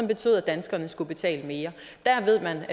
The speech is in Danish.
betød at danskerne skulle betale mere der ved man